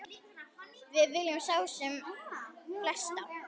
Við viljum sjá sem flesta.